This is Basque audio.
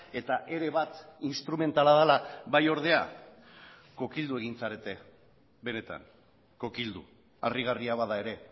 eta ere bat instrumentala dela bai ordea kokildu egin zarete benetan kokildu harrigarria bada ere